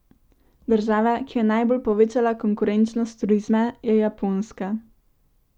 Država, ki je najbolj povečala konkurenčnost turizma, je Japonska.